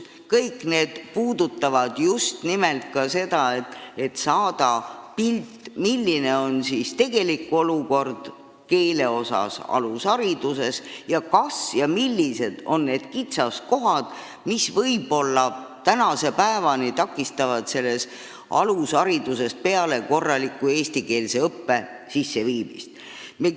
Need kõik on esitatud just nimelt selleks, et saada pilt eesti keele tegelikust olukorrast alushariduses, sh nendest kitsaskohtadest, mis võib-olla tänase päevani takistavad korraliku eestikeelse õppe sisseviimist alusharidusest peale.